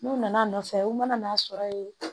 N'u nana a nɔ nɔfɛ u nana n'a sɔrɔ ye